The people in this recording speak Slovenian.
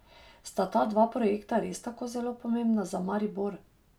Sta ta dva projekta res tako zelo pomembna za Maribor?